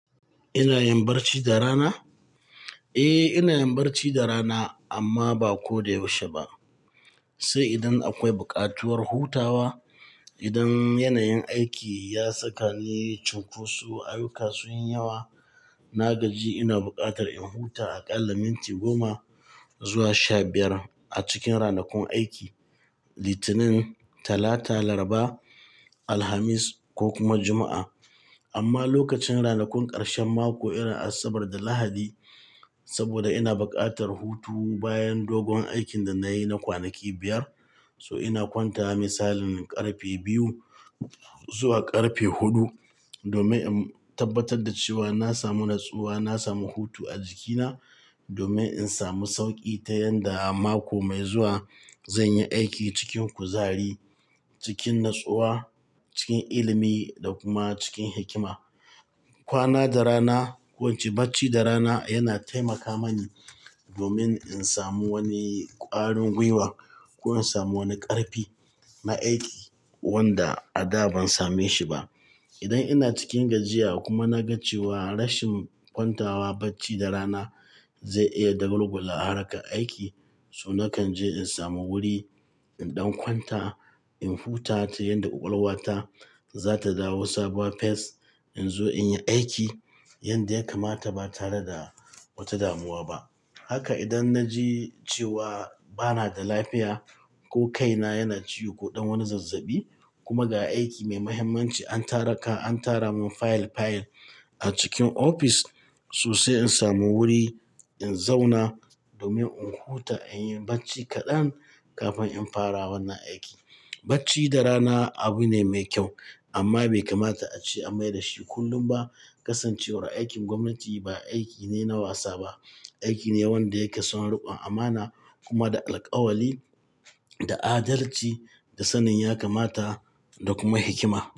Ina yin barci da rana? Eh, ina yin barci da rana amma ba ko da yaushe ba. Sai idan akwai bukatuwar hutawa. Idan yanayin aiki ya saka ni cunkoso, ayyuka sun yi yawa, na gaji ina bukatar in huta aƙalla minti goma zuwa sha biyar a cikin ranakun aiki Litinin, Talata, Laraba, Alhamis ko kuma Juma'a. Amma lokacin ranakun karshen mako, irin Asabar da Lahadi, saboda ina bukatar hutu bayan dogon aikin da na yi na kwanaki biyar, so ina kwanta misalin ƙarfe biyu zuwa ƙarfe huɗu domin in tabbatar da cewa na samu natsuwa, na samu hutu a jikina domin in samu sauƙi ta yadda a mako mai zuwa zan yi aiki cikin kuzari, cikin natsuwa, cikin ilimi da kuma cikin hikima. Kwana da rana, ko in ce barci da rana yana taimaka mani domin in samu wani ƙwarin gwiwa ko in samu wani ƙarfi na aiki wanda a da ban same shi ba. Idan ina cikin gajiya kuma na ga cewa rashin kwantawa barci da rana zai iya dagulgu la'akari aiki, so nakan je in samu wuri in ɗan kwanta, in huta ta yadda ƙwaƙwalwata za ta dawo sabuwa fes in zo in yi aiki yadda ya kamata ba tare da wata damuwa ba. Haka idan na ji cewa ba na da lafiya ko kaina yana ciwo ko ɗan wani zazzabi kuma ga aiki mai muhimmanci an tara ka, an tara min fayil fayil a cikin ofis sosai in samu wuri in zauna domin in huta, in yi barci kaɗan kafin in fara wannan aiki. Barci da rana abu ne mai kyau amma bai kamata a ce a mai da shi kullum ba. Kasancewar aikin gwamnati ba aiki ne na wasa ba, aiki ne wanda yake son riƙon amana kuma da alƙawali, da adalci, da sanin yakamata da kuma hikima.